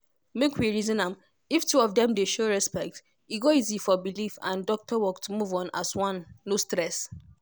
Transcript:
make we reason am if two of dem dey show respect e go easy for belief and doctor work to move as one no stress.